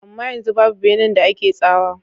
Amma yanzu babu benan da ake tsawa.